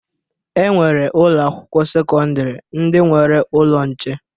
E nwere ụlọakwụkwọ sekọndịrị ndị nwere ụlọ nche